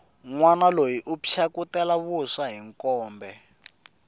nwana loyi u phyakutela vuswa hi mkombe